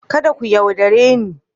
Kada ku yaudare ni.